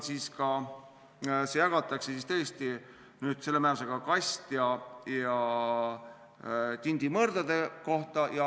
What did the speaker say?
See jagatakse tõesti selle määrusega kast- ja tindimõrdade kohta.